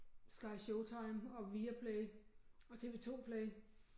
SkyShowtime og Viaplay og TV 2 Play